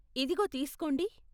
ఇదిగో తీస్కోండి.